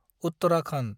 Uttarakhand